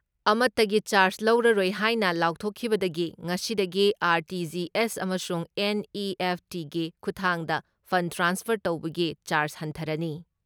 ꯑꯃꯠꯇꯒꯤ charge ꯂꯧꯔꯔꯣꯏ ꯍꯥꯏꯅ ꯂꯥꯎꯊꯣꯛꯈꯤꯕꯗꯒꯤ ꯉꯁꯤꯗꯒꯤ ꯑꯥꯔ.ꯇꯤ.ꯖꯤ.ꯑꯦꯁ ꯑꯃꯁꯨꯡ ꯑꯦꯟ.ꯏ.ꯑꯦꯐ.ꯇꯤꯒꯤ ꯈꯨꯊꯥꯡꯗ ꯐꯟ ꯇ꯭ꯔꯥꯟꯁꯐꯔ ꯇꯧꯕꯒꯤ ꯆꯥꯔꯖ ꯍꯟꯊꯔꯅꯤ ꯫